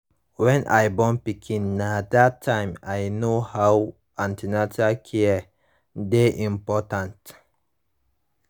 when i born pikin na that tym i know how an ten atal care dey important